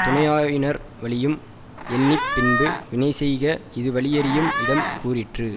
துணையாயினர் வலியும் எண்ணி பின்பு வினைசெய்க இது வலியறியும் இடம் கூறிற்று